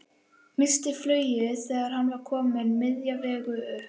Missti flugið þegar hann var kominn miðja vegu upp.